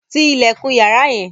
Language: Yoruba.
Tí ilẹkun yàrá yẹn!